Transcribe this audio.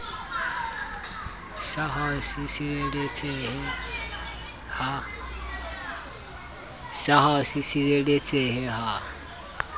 sa ho se sireletsehe ha